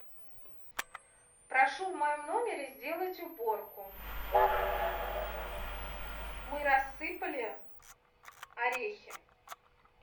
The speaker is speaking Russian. прошу в моем номере сделать уборку мы рассыпали орехи